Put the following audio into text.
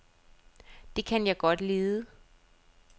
Det kan jeg godt lide.